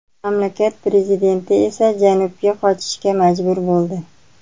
Mamlakat prezidenti esa janubga qochishga majbur bo‘ldi.